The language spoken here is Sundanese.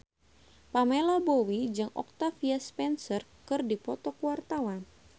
Pamela Bowie jeung Octavia Spencer keur dipoto ku wartawan